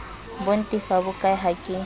ho ntefa bokae ha ke